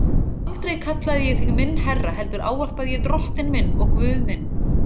Aldrei kallaði ég þig minn herra heldur ávarpaði ég drottinn minn og Guð minn.